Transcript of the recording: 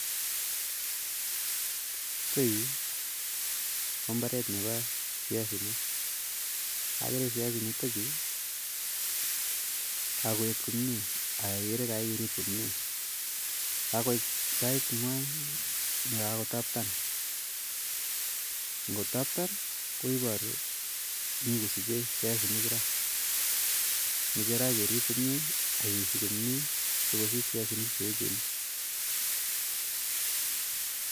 Yutayu ko mbaret nepo viasinik, akere viasinik chutachu kakoet komye ak akere kakerip komye ,kakoit sait ngwai ne kakotaptan ,kotaptan koiparu mii kosiche viasinik raa, meche raa kerip komye akeishi komye sokosich viasinik che echen